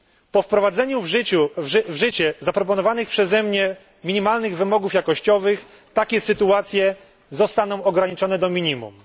Po wprowadzeniu w życie zaproponowanych przeze mnie minimalnych wymogów jakościowych takie sytuacje zostaną ograniczone do minimum.